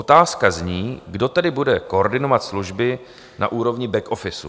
Otázka zní: Kdo tedy bude koordinovat služby na úrovni back office?